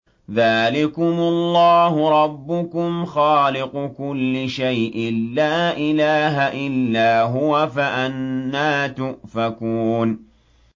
ذَٰلِكُمُ اللَّهُ رَبُّكُمْ خَالِقُ كُلِّ شَيْءٍ لَّا إِلَٰهَ إِلَّا هُوَ ۖ فَأَنَّىٰ تُؤْفَكُونَ